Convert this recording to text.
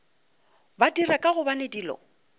ba dira ka gobane dilo